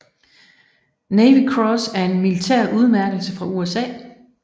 Navy Cross er en militær udmærkelse fra USA